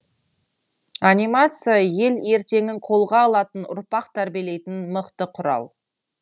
анимация ел ертеңін қолға алатын ұрпақ тәрбиелейтін мықты құрал